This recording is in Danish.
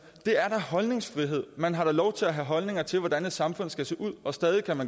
holdningsfrihed man har da lov til at have holdninger til hvordan et samfund skal se ud og stadig